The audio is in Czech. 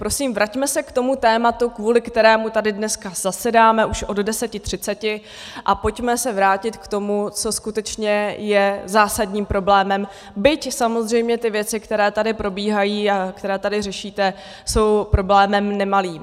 Prosím, vraťme se k tomu tématu, kvůli kterému tady dneska zasedáme už od 10.30, a pojďme se vrátit k tomu, co skutečně je zásadním problémem, byť samozřejmě ty věci, které tady probíhají a které tady řešíte, jsou problémem nemalým.